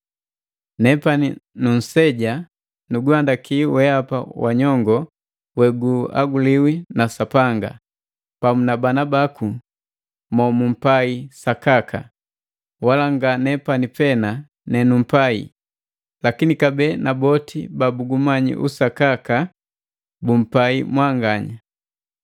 Nepani nunseja nuguhandaki wehapa wa nyongo weguhaguliwi na Sapanga, pamu na bana baku monupai sakaka. Wala nga nepani pena nenumpai, lakini kabee na boti babugumanyi usakaka bumpai mwanganya,